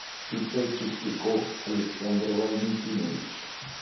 ип чистяков александр валентинович